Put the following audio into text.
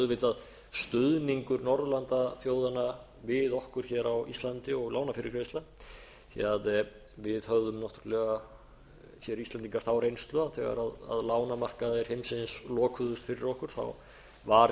auðvitað stuðningur norðurlandaþjóðanna við okkur hér á íslandi og lánafyrirgreiðsla því að við höfðum náttúrlega hér íslendingar þá reynslu að þegar lánamarkaðir heimsins lokuðust fyrir okkur var